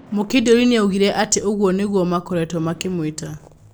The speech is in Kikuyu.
Mũkindũri nĩaugire atĩ ũguo nĩguo makoretwo makĩmwĩta.